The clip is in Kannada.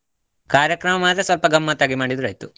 ಕಾರ್ಯಕ್ರಮ ಆದ್ರೆ ಸ್ವಲ್ಪ ಗಮ್ಮತ್ ಆಗಿ ಮಾಡಿದ್ರೆ ಆಯ್ತು.